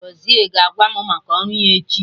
Gọzie ga-agwa mụ maka ọrụ ya echi